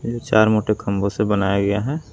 ये चार मोटे खम्बो से बनाया गया है।